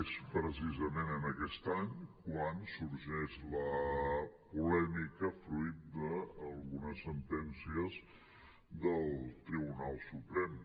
és precisament en aquest any que sorgeix la polèmica fruit d’algunes sentències del tribunal suprem